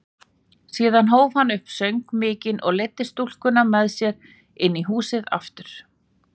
Síðan hóf hann upp söng mikinn og leiddi stúlkuna með sér inn í húsið aftur.